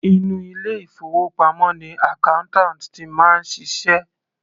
Inú ilé ìfowópamọ́ ni accountant ti máa ń ṣiṣẹ́.